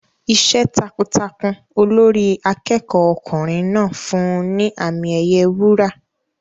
Iṣẹ́ takuntakun Olórí akẹ́kọ̀ọ́ ọkùnrin náà fún un ní àmì ẹ̀yẹ wúrà.